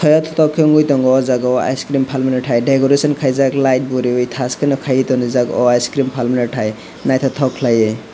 yettok khe noi wungoi tango o jaga o ice cream paimani tai degorection kaijak light bo riowe tash ke no kai tangrijak o ice cream palmani tai naitotok kelaioe.